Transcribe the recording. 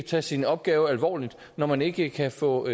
tage sin opgave alvorligt når man ikke kan få